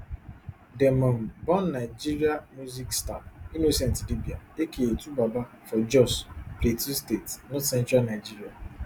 dem um born nigeria music star innocent idibia aka twobaba for jos plateau state northcentral nigeria